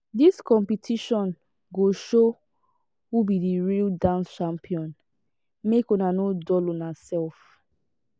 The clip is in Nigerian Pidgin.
dis competition go show who be di real dance champion make una no dull una sef.